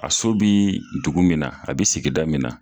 A so bii dugu min na a bi sigida min na